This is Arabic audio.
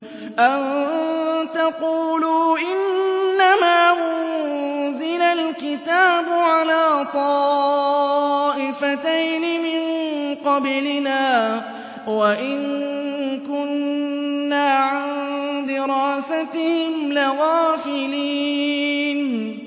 أَن تَقُولُوا إِنَّمَا أُنزِلَ الْكِتَابُ عَلَىٰ طَائِفَتَيْنِ مِن قَبْلِنَا وَإِن كُنَّا عَن دِرَاسَتِهِمْ لَغَافِلِينَ